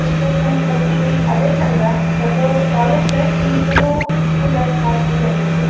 ಎಷ್ಟ ಚಂದ ಕಲ್ತಿವಿ ಅದೇ ಚಂದ. ದೊಡ್ಡೋವ್ರ college life ಕಿಂತನು school life ಬಾಳ ಚಂದ ಇರ್ತೆತಿ.